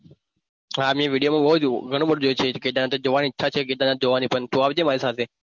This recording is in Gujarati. હા video માં મેં ઘણું બધું જોયું છે કેદારનાથ જોવાની ઈચ્છા છે કેદારનાથ પણ તું આવજે મારી સાથે.